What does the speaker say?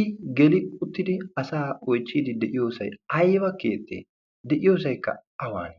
i geli uttidi asa oichchiidi de7iyoosai aiba keettee de'iyoosaikka awaan